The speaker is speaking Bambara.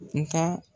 N ka